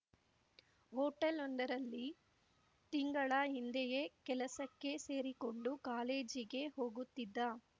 ಹೋಟೆಲೊಂದರಲ್ಲಿ ತಿಂಗಳ ಹಿಂದೆಯೇ ಕೆಲಸಕ್ಕೆ ಸೇರಿಕೊಂಡು ಕಾಲೇಜಿಗೆ ಹೋಗುತ್ತಿದ್ದ